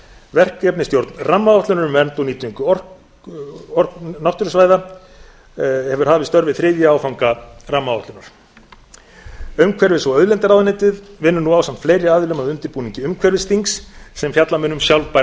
verkefnastjórn rammaáætlunar um vernd og orkunýtingu náttúrusvæða hafið störf við þriðja áfanga rammaáætlunar umhverfis og auðlindaráðuneytið vinnur nú ásamt fleiri aðilum að undirbúningi umhverfisþings sem fjalla mun um sjálfbæra